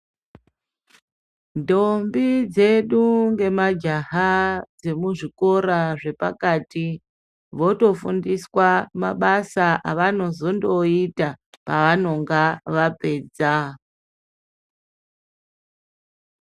Ndombi dzedu ngemajaha dzemuzvikora zvepakati votofundiswa mabasa avanozondoyiita pavanenge vapedza.